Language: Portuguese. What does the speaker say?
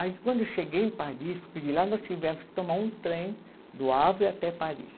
Aí quando eu cheguei em Paris, porque de lá nós tivemos que tomar um trem do até Paris.